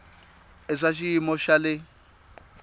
i swa xiyimo xa le